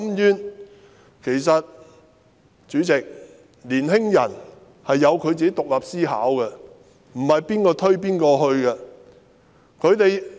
主席，其實年輕人自己有獨立思考，沒有誰能推動他們。